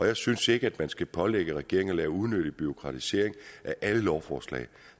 og jeg synes ikke at man skal pålægge regeringen at lave unødig bureaukratisering af alle lovforslag